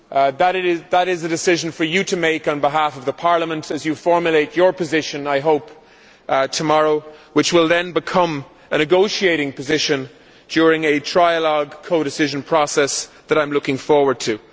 That is a decision for you to make on behalf of Parliament as you formulate your position tomorrow, I hope, which will then become a negotiating position during a trialogue codecision process that I am looking forward to.